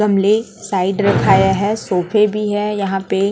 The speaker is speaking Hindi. गमले साइड रखाया है सोफे भी है यहां पे--